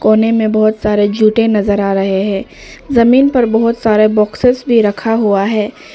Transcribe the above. कोने में बहुत सारे जूते नजर आ रहे हैं जमीन पर बहुत सारे बॉक्सेस भी रखा हुआ है।